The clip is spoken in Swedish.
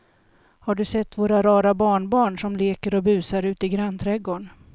Har du sett våra rara barnbarn som leker och busar ute i grannträdgården!